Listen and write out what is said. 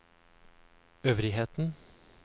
øvrigheten